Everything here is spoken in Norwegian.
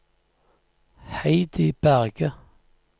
Heidi Berge